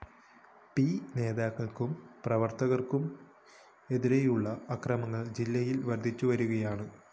P നേതാക്കള്‍ക്കും പ്രവര്‍ത്തകര്‍ക്കും എതിരെയുള്ള അക്രമങ്ങള്‍ ജില്ലയില്‍ വര്‍ദ്ധിച്ചു വരികയാണ്